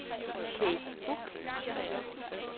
Kathe Buch